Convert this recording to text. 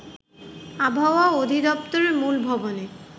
আবহাওয়া অধিদপ্তরের মূল ভবনে